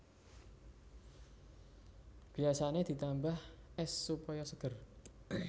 Biasané ditambah ès supaya seger